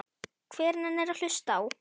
Hver nennir að hlusta á.